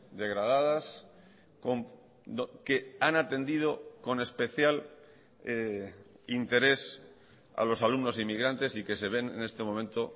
degradadas que han atendido con especial interés a los alumnos inmigrantes y que se ven en este momento